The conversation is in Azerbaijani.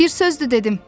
Bir sözdü dedim.